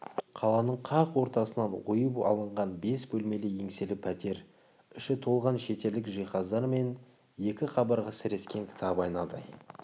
қаланың қақ ортасынан ойып алынған бес бөлмелі еңселі пәтер іші толған шетелдік жиһаздар мен екі қабырға сірескен кітап айнадай